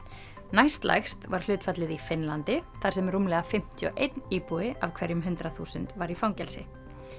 næstlægst var hlutfallið í Finnlandi þar sem rúmlega fimmtíu og einn íbúi af hverjum hundrað þúsund var í fangelsi